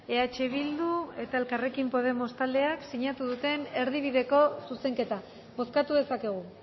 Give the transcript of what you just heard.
eh bildu eta elkarrekin podemos taldeak sinatu duten erdibideko zuzenketa bozkatu dezakegu